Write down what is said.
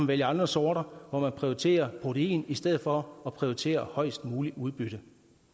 vælge andre sorter hvor man prioriterer protein i stedet for at prioritere højest muligt udbytte